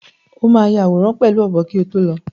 O máa ya àwòrán pẹ̀lú ọ̀bọ kí o tó lọ.